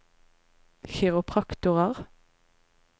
kiropraktorer